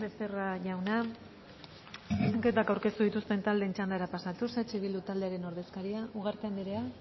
becerra jauna zuzenketak aurkeztu dituzten taldeen txandara pasatuz eh bildu taldearen ordezkaria ugarte andrea ugarte